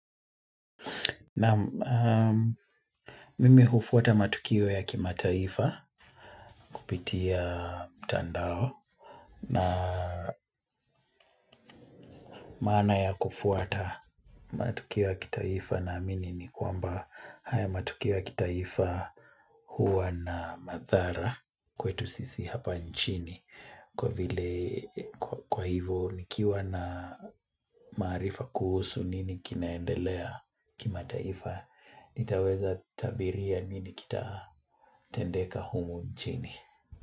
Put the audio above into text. Naam, mimi hufuata matukio ya kimataifa kupitia mtandao na maana ya kufuata matukio ya kitaifa na amini nikwamba haya matukio ya kitaifa huwa na madhara kwetu sisi hapa nchini kwa hivo nikiwa na marifa kuhusu nini kinaendelea kimataifa nitaweza tabiria nini kitatendeka humu nchini.